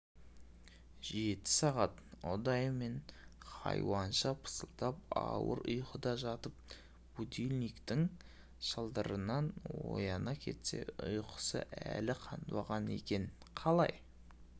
жеті сағат ұдайымен хайуанша пысылдап ауыр ұйқыда жатып будильниктің шылдырынан ояна кетсе ұйқысы әлі қанбаған екенқалай